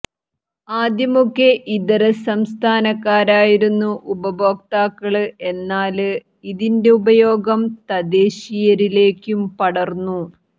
ആദ്യമൊക്കെ ഇതരസംസ്ഥാനക്കാരായിരുന്നു ഉപഭോക്താക്കള് എന്നാല് ഇതിന്റെ ഉപയോഗം തദ്ദേശീയരിലേക്കും പടര്ന്നു